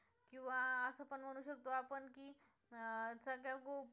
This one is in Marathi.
अं सध्या खूप